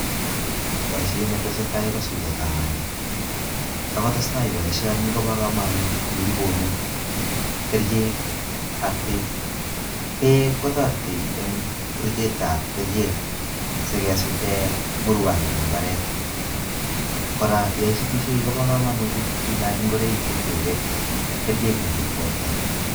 Boisiet netesetai ko sutetab bandek sikotestai boisioni kobo kamanut komii pomit kerchek ak beek. Beek kotoreti eng buruchetab kerchek sikesute burwokik eng mbaret kora yo isutisiei kobo kamanut itinye ngoroik cheribe kerchek machut borto.